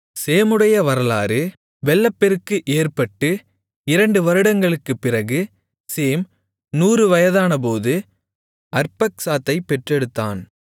சேமுடைய வம்சவரலாறு வெள்ளப்பெருக்கு ஏற்பட்டு 2 வருடங்களுக்குப் பிறகு சேம் 100 வயதானபோது அர்பக்சாத்தைப் பெற்றெடுத்தான்